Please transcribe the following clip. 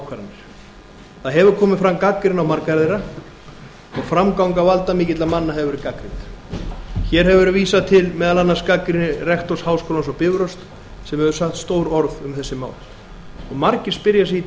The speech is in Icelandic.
ákvarðanir það hefur komið fram gagnrýni á margar þeirra og framganga valdamikilla manna hefur verið gagnrýnd hér hefur verið vísað til meðal annars gagnrýni rektors háskólans á bifröst sem hefur sagt stór orð um þessi mál og margir spyrja sig í